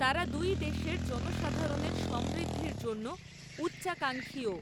তারা দুই দেশের জনসাধারণের সমৃদ্ধির জন্য উচ্চাকাঙ্খীও।